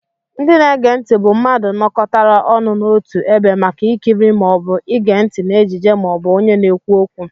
Ndị na-ege ntị bụ mmadụ nókọtára ọnụ n'ọtu ebe màkà ikiri maọbu ige ntị na ejije maọbu ọnye na-ekwu ókwú.